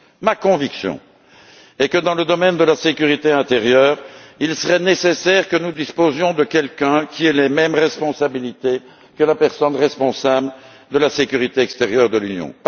Ma conviction est que dans le domaine de la sécurité intérieure, il serait nécessaire que nous disposions d'une personne qui ait les mêmes attributions que le responsable de la sécurité extérieure de l'Union.